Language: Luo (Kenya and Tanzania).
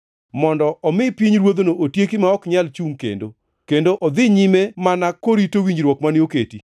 mondo omi pinyruodhno otieki ma ok nyal chungʼ kendo, kendo odhi nyime mana korito winjruok mane oketi.